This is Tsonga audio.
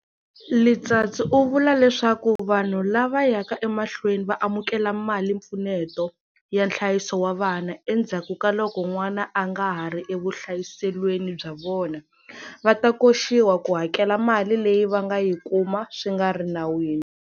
Letsatsi u vula leswaku vanhu lava yaka emahlweni va amukela malimpfuneto ya nhlayiso wa vana endzhakukaloko n'wana a nga ha ri evuhlayiselweni bya vona, va ta koxiwa ku hakela mali leyi va nga yi kuma swi nga ri nawini.